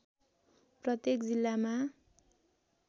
प्रत्येक जिल्लामा